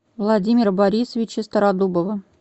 владимира борисовича стародубова